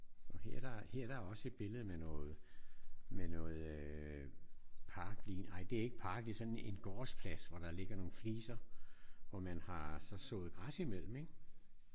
Og her der er her er der også et billede med noget med noget øh parklignende ej det er ikke en park. Det er sådan en gårdsplads hvor der ligger nogle fliser hvor man har så sået græs imellem iggås?